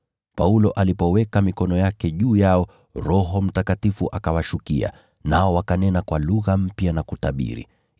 Paulo alipoweka mikono yake juu yao, Roho Mtakatifu akawashukia, nao wakanena kwa lugha mpya na kutabiri.